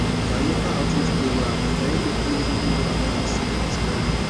na local outreach program na im make me really know about this syphilis well well